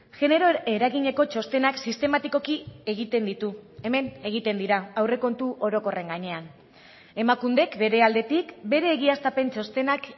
genero eragineko txostenak sistematikoki egiten ditu hemen egiten dira aurrekontu orokorren gainean emakundek bere aldetik bere egiaztapen txostenak